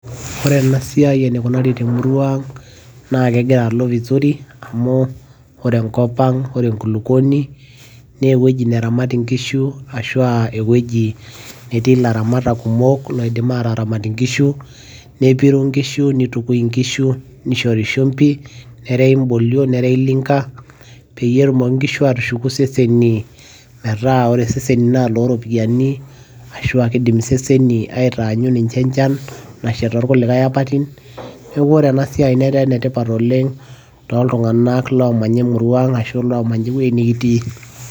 ore ena siai eneikunari temurua ang' naa kegira alo vizuri amu ore enkop ore enkulupuoni naa ewueji neramati nkishu ashu aa ewueji netii ilaramatak kumok, loidim aataramat nkishu, nepiru nkishu, nitukui nkishu, nishori shumpi, nereyi ibolio, nerewi linka, peyie etumoki nkishu aatushuku seseni, metaa ore eseseni na iloooropiyiani ashuu aa kidim iseseni aatanyu ninche enchan. nasha toorkulikae apaitin. neeku ore ena siai netaa ene tipat oleng'.tooltunganak loomanya emurua ang ashu loomanaya ewuei nikitii.